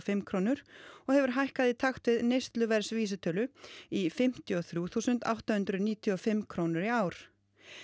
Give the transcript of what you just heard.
fimm krónur og hefur hækkað í takt við neysluverðsvísitölu í fimmtíu og þrjú þúsund átta hundruð níutíu og fimm krónur í ár